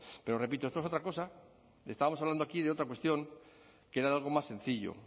pero repito esto es otra cosa estábamos hablando aquí de otra cuestión que era de algo más sencillo